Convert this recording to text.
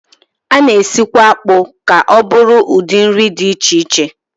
A na-esikwa akpụ ka ọ bụrụ ụdị nri dị iche iche